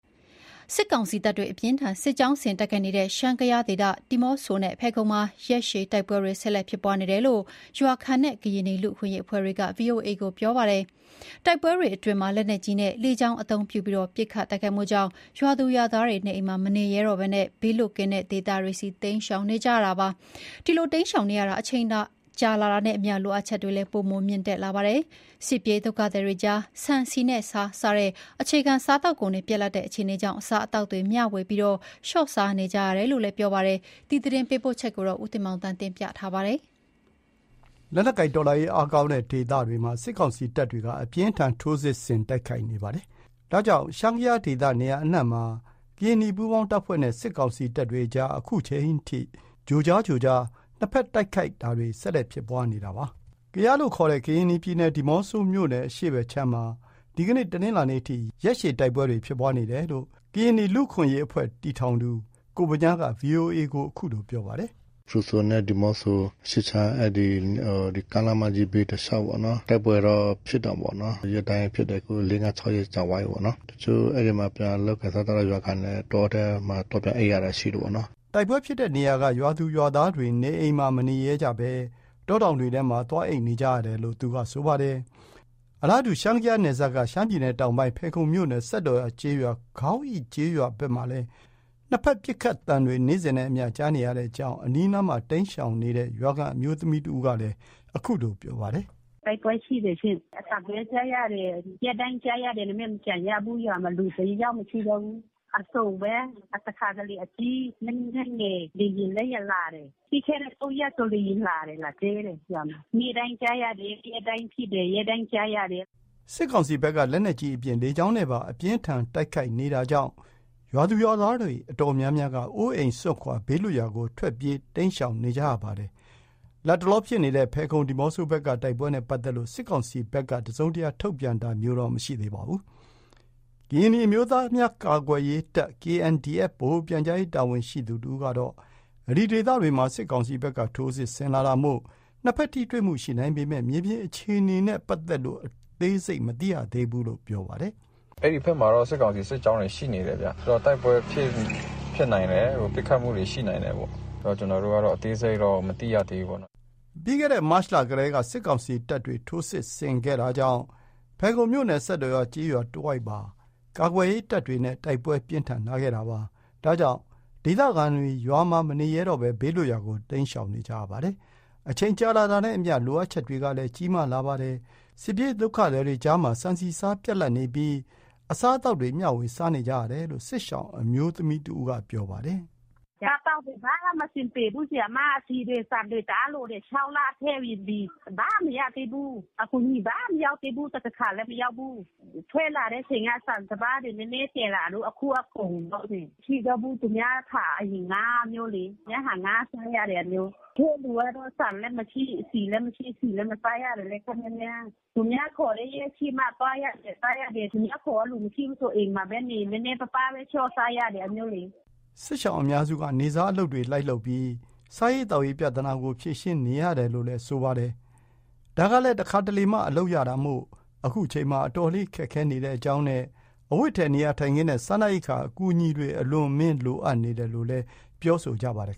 စစ်ကောင်စီတပ်တွေ အပြင်းအထန် စစ်ကြောင်းဆင်တိုက်ခိုက်နေတဲ့ ရှမ်း-ကယားဒေသ ဒီးမော့ဆိုနဲ့ဖယ်ခုံမှာ ရက်ရှည်တိုက်ပွဲတွေ ဆက်လက်ဖြစ်ပွားနေတယ်လို့ ရွာခံနဲ့ ကရင်နီလူ့အခွင့်အရေးအဖွဲ့က ဗွီအိုအေကို ပြောပါတယ်။ တိုက်ပွဲတွေအတွင်းမှာ လက်နက်ကြီးနဲ့ လေကြောင်းအသုံးပြုပြီး ဦးတည်ရာမရှိ ပစ်ခတ်တိုက်ခိုက်မှုကြောင့် ရွာသားရွာသူတွေ နေအိမ်မှာမနေရဲတော့ဘဲ ဘေးလွတ်ရာ ဒေသတွေဆီ တိမ်းရှောင်နေကြရပါတယ်။ ဒီလိုတိမ်းရှောင်နေရတာ အချိန်ကြာတာနဲ့အမျှ လိုအပ်တွေ ပိုမိုမြင့်တက်လာတာပါ။ စစ်ပြေးဒုက္ခသည်တွေကြား ဆန် ဆီ ဆားတွေ ပြတ်လပ်တဲ့ အခြေအနေကြောင့် အစားအသောက်တွေ မျှဝေပြီး လျှော့စားနေကြရတဲ့ အကြောင်း ရန်ကုန်ကလာတဲ့သတင်းကို ဦးတင်မောင်သန်းက တင်ပြပေးထားပါတယ်။ လက်နက်ကိုင်တော်လှန်ရေးအားကောင်းတဲ့ဒေသတွေမှာ စစ်ကောင်စီတပ်တွေ အပြင်းအထန် စစ်ကြောင်းဆင် တိုက်ခိုက်နေပါတယ်။ ဒါကြောင့် ရှမ်း-ကယားဒေသ နေရာအနှံ့မှာ ကရင်နီပူးပေါင်းတပ်ဖွဲ့နဲ့ စစ်ကောင်စီတပ်တွေအကြား ခုချိန်ထိ ကြိုကြားကြိုကြား နှစ်ဖက်ပစ်ခတ်မှုတွေ ဆက်လက် ဖြစ်ပွားနေတာပါ။ ကယားလို့ခေါ်တဲ့ ကရင်နီပြည်နယ် ဒီးမော့ဆိုမြို့နယ် အရှေ့ဖက်ခြမ်းမှာ ဒီကနေ့ တနင်္လာနေ့အထိ ရက်ရှည် တိုက်ပွဲတွေ ဖြစ်ပွားနေတယ်လို့ ကရင်နီလူ့အခွင့်အရေးတည်ထောင်သူ ကိုဗညားက ဗွီအိုအေကို ခုလို ပြောပါတယ်။ “ဖရူးဆိုနဲ့ ဒီးမော့ဆိုအရှေ့ခြမ်း အဲ့ဒီကားလမ်းမကြီးဘေး တလျှောက်ပေါ့နော်၊ တိုက်ပွဲတော့ ဖြစ်တာပေါ့နော်၊ ရက်တိုင်းဖြစ်တယ်၊ အခု လေး-ငါး ခြောက်ရက် ကြာသွားပြီးပေါ့နော်၊ တချို့အဲ့ဒီမှာ ပြန်လုပ်ကိုင်စားသောက်တဲ့ရွာခံနဲ့ တောထဲမှာ သွားပြန်အိပ်ရတာရှိတယ်ပေါ့နော်။” တိုက်ပွဲဖြစ်တဲ့ ဧရိယာထဲက ရွာသူရွာသားတွေ နေအိမ်မှာ မနေရဲကြဘဲ တောတောင်တွေထဲမှာ သွားအိပ်နေကြရတာလို့ ဆိုပါတယ်။ အလားတူ ရှမ်း-ကယားနယ်စပ်က ရှမ်းပြည်တောင်ပိုင်း ဖယ်ခုံမြို့နယ် စက်တော်ရာကျေးရွာ ခေါင်းအိကျေးရွာဘက်မှာလည်း နှစ်ဖက် ပစ်ခတ်သံတွေ နေ့စဉ်နဲ့အမျှ ကြားနေရတဲ့အကြောင်း အနီးအနားမှာ တိမ်းရှောင်နေတဲ့ ရွာခံအမျိုးသမီးတဦးက ခုလို ပြောပါတယ်။ “တိုက်ပွဲရှိတယ်ရှင့်၊ အသံပဲကြားရတယ်။ ရက်တိုင်းကြားရတယ်။ အဲ့ဒါနဲ့မပြန်ရဘူး။ ရွာမှာ ရွာခံတယောက်မှမရှိတော့ဘူး။ အသံအစုံပဲ။ တခါတလေ လက်နက်ကြီး လက်နက်ငယ်၊ လေယာဉ်လည်းလာတယ်၊ ပြီးခဲ့တဲ့ ၃ ရက်က လေယာဉ်လာတယ်။ လာကြဲတယ် ရွာမှာ၊ အသံ နေ့တိုင်းကြားရတယ်။ ရက်တိုင်းဖြစ်တယ်၊ ရက်တိုင်းကြားရတယ်။” တိုက်ပွဲတွေအတွင်းမှာ စစ်ကောင်စီဘက်က လက်နက်ကြီးအပြင် လေကြောင်းနဲ့ပါ အသုံးပြုပြီး အပြင်းအထန် ခုခံတိုက်ခိုက်နေတာပါ။ ဒါကြောင့် ရွာသူရွာသားတွေ အတော်များများက အိမ်အိုးစွန့်ခွာ ဘေးလွတ်ရာကို ထွက်ပြေးတိမ်းရှောင်နေကြရပါတယ်။ လတ်တလော ဖယ်ခုံ ဒီးမော့ဆိုဘက်က တိုက်ပွဲနဲ့ ပတ်သက်လို့ စစ်ကောင်စီဘက် တစုံတရာထုတ်ပြန်တာမျိုးမရှိသေးပါဘူး။ ကရင်နီအမျိုးသားများကာကွယ်ရေးတပ် ဗဟိုပြန်ကြားရေးတာဝန်ရှိသူတဦးက အဲ့ဒီဒေသတွေမှာ စစ်ကောင်စီဘက်က ထိုးစစ်ဆင်လာတာမို့ နှစ်ဖက်ထိတွေ့မှုရှိနိုင်ပေမယ့် မြေပြင်အခြေအနေနဲ့ ပတ်သက်လို့ အသေးစိတ်မသိရသေးဘူးလို့ ပြောပါတယ်။ “အဲ့ဒီဖက်မှာတော့ စစ်ကောင်စီ စစ်ကြောင်းတွေရှိနေတယ်ဗျ၊ တိုက်ပွဲဖြစ်နိုင် တယ်၊ ပစ်ခတ်မှုတွေ ရှိနိုင်တယ်ပေါ့။ ကျနော်တို့ကတော့ အသေးစိတ်တော့ မသိသေးဘူးပေါ့နော်။” ပြီးခဲ့တဲ့ မတ်လကတည်းက စစ်ကောင်စီတပ်တွေ ထိုးစစ်ဆင်လာတာကြောင့် ဖယ်ခုံမြို့နယ် စက်တော်ရာကျေးရွာတဝိုက်မှာ ကာကွယ်ရေးတပ်တွေနဲ့ တိုက်ပွဲပြင်းထန်လာတာပါ။ အဲ့ဒီနောက် ဒေသခံတွေ ရွာမှာ မနေရဲတော့ဘူး ဘေးလွတ်ရာကို တိမ်းရှောင်လာကြပါတယ်။ ဒီလိုတိမ်းရှောင်နေရတာ အချိန်ကြာတာနဲ့အမျှ လိုအပ်ချက်တွေ ပိုမိုမြင့်တက်လာတာပါ။ စစ်ပြေးဒုက္ခသည်တွေကြား ဆန် ဆီ ဆားတွေ ပြတ်လပ်တဲ့ အခြေအနေကြောင့် အစားအသောက်တွေ မျှဝေပြီး လျှော့စားနေကြရတယ်လို့ စစ်ရှောင်အမျိုးသမီးက ပြောပါတယ်။ “အစားအသောက်တွေ ဘာမှမရှိဘူး၊ ဆီတွေ ဆန်တွေ တအားလိုတယ်။ ၆ လ အတွင်း ဘာမရသေးဘူး။ အကူအညီဘာမှ မရောက်သေးဘူး။ တခါလည်းမရောက်ဘူး။ ထွက်လာတဲ့အချိန်ကစလို့ စပါးတွေ နည်းနည်းသယ်လာလို့။ အခုကကုန်ပြီပေါ့ မရှိတော့ဘူး၊ သူများဆန် အရင်ငှါးတာမျိုးလေး၊ သူတို့ဟာ ငှါးစားရတယ်၊ တချို့လူကတော့ ဆန်လည်း မရှိ၊ ဆီလည်းမရှိ၊ ဆီလည်းမစားရတာ ခပ်များများ။ သူများခေါ်တဲ့ရက်ရှိမှ စားရတယ်။ သူများခေါ်တဲ့ လူမရှိဘူးဆို အိမ်မှာပဲ နေ၊ နည်းနည်းပါးပါးပဲ လျှော့စားရတယ် အဲ့ဒါမျိုးလေ။” စစ်ရှောင်အများစုက နေ့စားအလုပ်တွေ လိုက်လုပ်ပြီး စားရေးသောက်ရေးပြဿနာကို ဖြေရှင်းနေရတာလို့ ဆိုပါတယ်။ နေ့စားအလုပ်လည်း တခါတလေမှ လုပ်ရတာမို့ ခုချိန်မှာ အတော်လေးခက်ခဲနေတဲ့အကြောင်းနဲ့ အဝတ်အထည်၊ နေရာထိုင်းခင်းနဲ့ စားနပ်ရိက္ခာ အကူအညီတွေ အလွန်အမင်း လိုအပ်နေတယ်လို့ ပြောဆိုကြပါတယ်